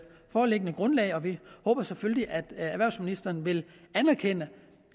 foreliggende grundlag og vi håber selvfølgelig at erhvervsministeren vil anerkende